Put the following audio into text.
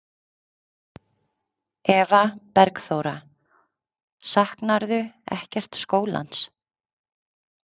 Eva Bergþóra: Saknarðu ekkert skólans?